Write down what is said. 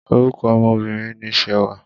Orúkọ ọmọ Obìnrin ni Ṣewà.